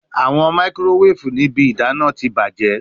Awọn makirowefu ni ibi idana ti bajẹ